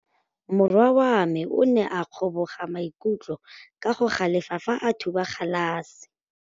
Morwa wa me o ne a kgomoga maikutlo ka go galefa fa a thuba galase.